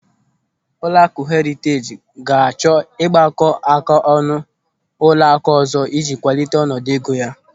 Ụlọakụ Heriteej ga-achọ ịgbakọáká ọnụ na ụlọakụ ọzọ ịji kwalite ọnọdụ ego ya.